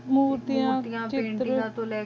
ਮੂਰਤੀਆਂ ਮੂਰਤੀਆਂ ਤਾਂਕ੍ਰੀਆਂ